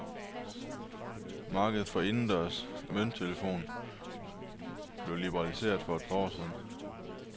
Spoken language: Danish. Markedet for indendørs mønttelefoner blev liberaliseret for et par år siden.